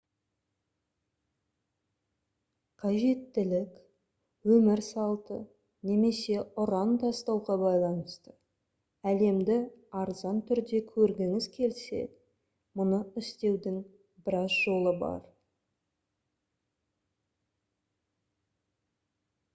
қажеттілік өмір салты немесе ұран тастауға байланысты әлемді арзан түрде көргіңіз келсе мұны істеудің біраз жолы бар